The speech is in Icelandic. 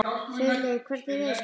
Friðleif, hvernig er veðurspáin?